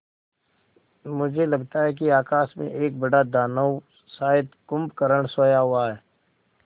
मुझे लगता है कि आकाश में एक बड़ा दानव शायद कुंभकर्ण सोया हुआ है